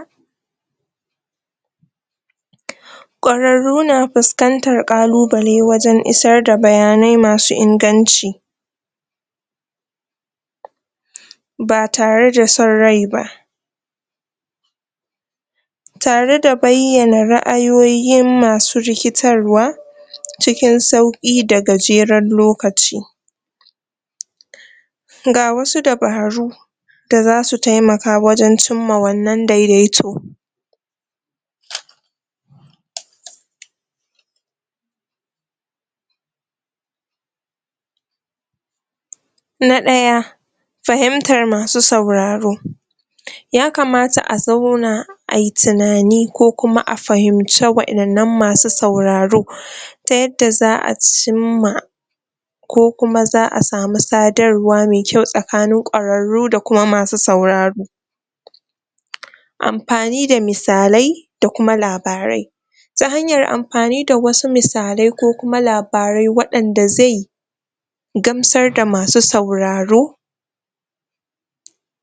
?? ƙwararru na fiskantan ƙalubale wajan isar da bayanai masu in ganci ba tare da son ryai ba tare da baiyana ra'ayoyin masu rikitarwa cikin sauki da gajeran lokaci? ga wasu dabaru da zasu temaka wajan cimma wannan dedaito?? na ɗaya fahimtar masu sauraro yakamata azauna ai tinani ko kuma a fahimce wayannan masu sauraro ta yadda za a cimma ko kuma za a samu sadarwa me kyau tsakanin ƙwararru da kuma masu sauraro amfani da misalai da kuma labarai da hanyan amfani da wasu misalai ko kuma labarai wayanda ze gamsar da masu sauraro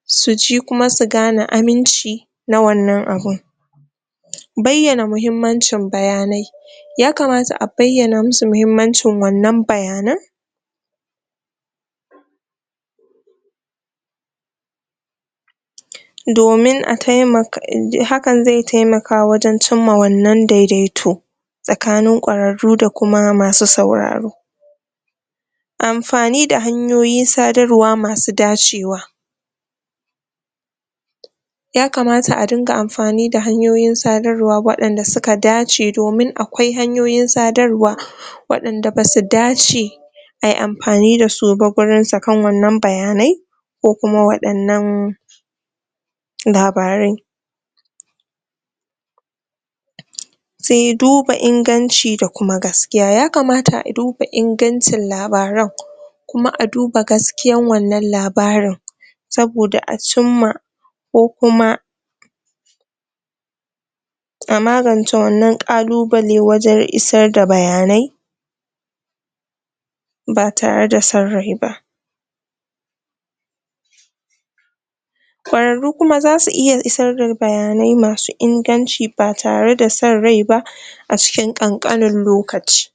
suji kuma su gane aminci na wannan abun baiyana mahimmanci bayanai yakamata abaiyana musu mahimmancin wannan bayanan domin hakan ze taimaka wajan cimma wannan dedaito tsakani ƙwararru da kuma masu sauraro amfani da hanyoyin sadarwa masu dacewa yakamata a dunga amfani da han yoyin sadarwa dasuka dace domin akwai hanyoyin sadarwa waynda basu dace ayi amfani dasuba gurin sakan wannan bayanai ko kuma waɗannan labarai se duba in ganci da kuma gaskiya yakama aduba in gancin labaran kuma aduba gaskiyan wannan labarin saboda acimma ko kuma ama gance wannan ƙalu bale wajan isar da bayanai ba tare da san ryaiba ƙo rarru kuma zasu iya isar da bayanai masu inganci batare da son ryai ba acikin ƙanƙanin lokaci